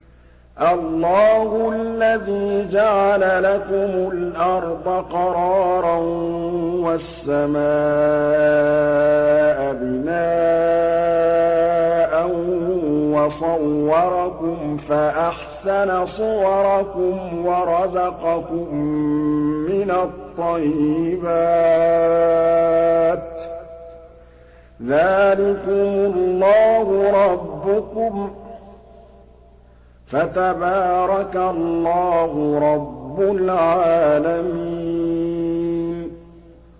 اللَّهُ الَّذِي جَعَلَ لَكُمُ الْأَرْضَ قَرَارًا وَالسَّمَاءَ بِنَاءً وَصَوَّرَكُمْ فَأَحْسَنَ صُوَرَكُمْ وَرَزَقَكُم مِّنَ الطَّيِّبَاتِ ۚ ذَٰلِكُمُ اللَّهُ رَبُّكُمْ ۖ فَتَبَارَكَ اللَّهُ رَبُّ الْعَالَمِينَ